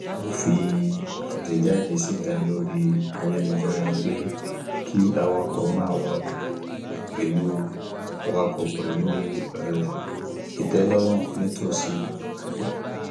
ó fi àtẹjáde síta lori ayélujára pé kí awakọ máa wakọ pẹlú wakọ pẹlú um ìtẹlọrun nítòsí ìpàdé